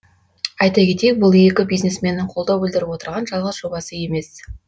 айта кетейік бұл екі бизнесменнің қолдау білдіріп отырған жалғыз жобасы емес